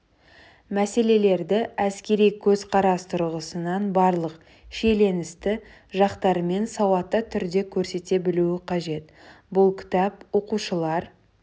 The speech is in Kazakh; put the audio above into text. мәселелерді әскери көзқарас тұрғысынан барлық шиеленісті жақтарымен сауатты түрде көрсете білуі қажет бұл кітап оқушылар